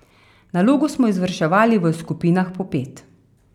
Nalogo smo izvrševali v skupinah po pet.